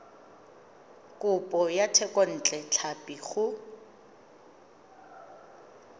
kopo ya thekontle tlhapi go